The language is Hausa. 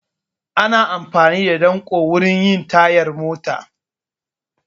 Ana amfani da danƙo wurin yin tayar mota